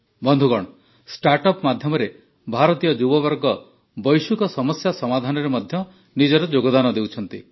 ବନ୍ଧୁଗଣ ଷ୍ଟାର୍ଟଅପ୍ ମାଧ୍ୟମରେ ଭାରତୀୟ ଯୁବବର୍ଗ ବୈଶ୍ୱିକ ସମସ୍ୟା ସମାଧାନରେ ମଧ୍ୟ ନିଜର ଯୋଗଦାନ ଦେଉଛନ୍ତି